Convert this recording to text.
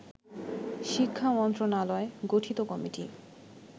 শিক্ষা মন্ত্রণালয় গঠিত কমিটি